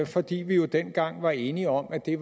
fordi vi jo dengang var enige om at det